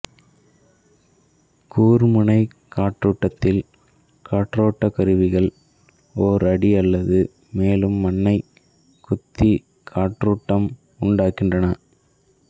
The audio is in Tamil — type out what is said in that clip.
கூர்முனைக் காற்றூட்டத்தில் காற்றூட்டக் கருவிகள் ஓர் அடி அல்லது மேலும் மண்ணைக் குத்தி காற்றூட்டம் உண்டாக்குகின்றன